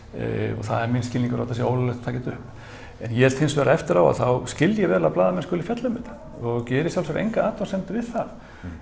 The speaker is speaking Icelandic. og það er minn skilningur að það sé ólöglegt að taka þetta upp en ég held hins vegar eftir á að þá skil ég vel að blaðamenn skuli fjalla um þetta og geri í sjálfu sér enga athugasemd við það